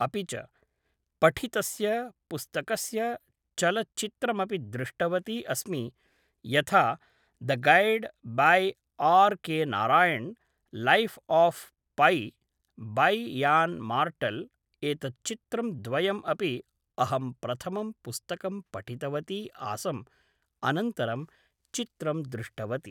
अपि च पठितस्य पुस्तकस्य चलचित्रमपि दृष्टवती अस्मि यथा the guide by R K Narayan life of Pi by Yann Martel एतत् चित्रं द्वयं अपि अहं प्रथमं पुस्तकम् पठितवती आसम् अनन्तरं चित्रं दृष्टवती